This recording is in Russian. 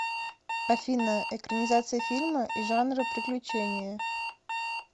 афина экранизация фильма и жанра приключения